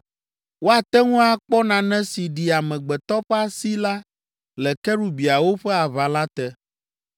Woate ŋu akpɔ nane si ɖi amegbetɔ ƒe asi la le kerubiawo ƒe aʋala te.